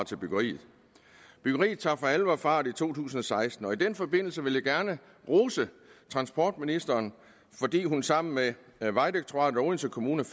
til byggeriet byggeriet tager for alvor fart i to tusind og seksten og i den forbindelse vil jeg gerne rose transportministeren fordi hun sammen med vejdirektoratet og odense kommune